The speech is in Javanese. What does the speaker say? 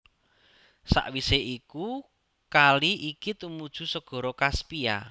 Sawisé iku kali iki tumuju Segara Kaspia